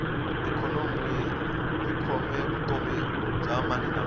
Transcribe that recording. ikhonomi yi khome vutomi bya maninamani